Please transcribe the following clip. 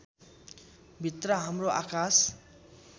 भित्र हाम्रो आकाश